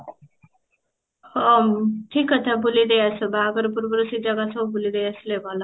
ହଁ ଠିକ କଥା ବୁଲିଦେଇ ଆସ ବାହାଘର ପୂର୍ବରୁ ସେ ଜାଗା ସବୁ ବୁଲିଦେଇ ଆସିଲେ ଭଲ